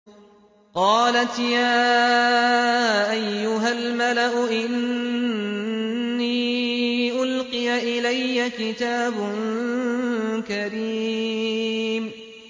قَالَتْ يَا أَيُّهَا الْمَلَأُ إِنِّي أُلْقِيَ إِلَيَّ كِتَابٌ كَرِيمٌ